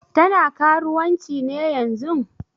Tana karuwanci ne yanzun?